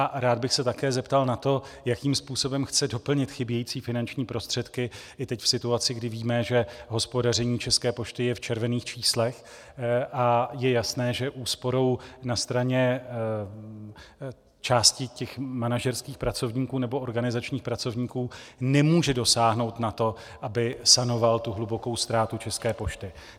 A rád bych se také zeptal na to, jakým způsobem chce doplnit chybějící finanční prostředky i teď v situaci, kdy víme, že hospodaření České pošty je v červených číslech a je jasné, že úsporou na straně části těch manažerských pracovníků nebo organizačních pracovníků nemůže dosáhnout na to, aby sanoval tu hlubokou ztrátu České pošty.